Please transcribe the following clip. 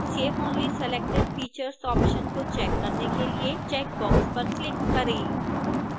save only selected features option को check करने के लिए चेक बॉक्स पर क्लिक करें